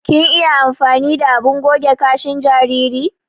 Kin iya amfani da abin goge kashin jinjiri?